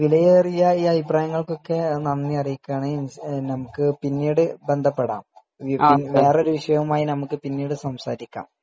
വിലയേറിയ അഭിപ്രായങ്ങൾക്കൊക്കെ നന്ദി അറിയിക്കുകയാണ് നമ്മുക്ക് പിന്നീട് ബന്ധപ്പെടാം വേറെ ഒരു വിഷയവുമായി നമ്മുക്ക് പിന്നീട് സംസാരികാരം